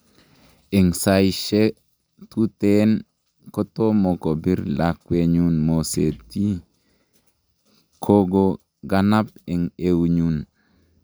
En Saishe tuten kotomo kobir lakwenyun moset ii, kogo ganam en eunyun.